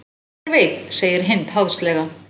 Hver veit segir Hind háðslega.